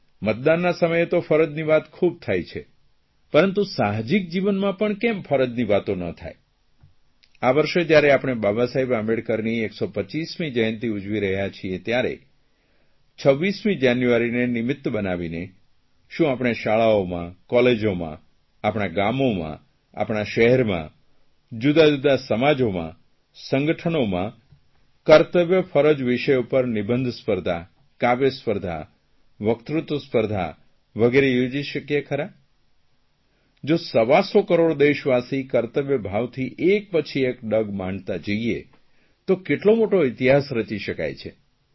મતદાનના સમયે તો ફરજની વાત ખૂબ થાય છે પરંતુ સાહજિક જીવનમાં પણ કેમ ફરજની વાતો ન થાય આ વર્ષે જયારે આપણે બાબાસાહેબ આંબેડકરની 125મી જયંતિ ઉજવી રહ્યા છીએ ત્યારે 26મી જાન્યુઆરીને નિમિત્ત બનાવીને શું આપણે શાળાઓમાં કોલેજોમાં આપણાં ગામોમાં આપણાં શહેરમાં જુદાજુદા સમાજોમાં સંગઠનોમાં કર્તવ્યફરજ વિષય પર નિબંધ સ્પર્ધા કાવ્ય સ્પર્ધા વકતૃત્વ વગેરે યોજી શકીએ ખરા જો સવાસો કરોડ દેશવાસી કર્તવ્યભાવથી એક પછી એક ડગ માંડતા જઇએ તો કેટલો મોટો ઇતિહાસ રચી શકાય છે